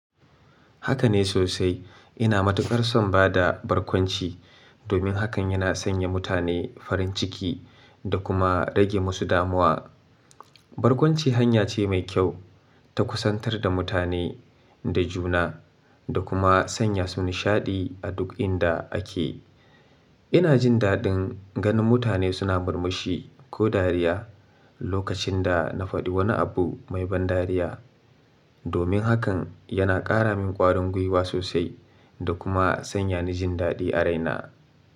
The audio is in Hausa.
Haka ne sosai. Ina matuƙar son ba da barkwanci domin hakan yana sanya mutane farin ciki da kuma rage musu damuwa. Barkwanci hanya ce mai kyau ta kusantar da mutane da juna da kuma sanya su nishaɗi a duk inda ake. Ina jin daɗin ganin mutane suna murmushi ko dariya lokacin da na faɗi wani abu mai ban dariya. Domin hakan yana ƙara min ƙwarin gwiwa sosai da kuma sanya ni jin daɗi a raina.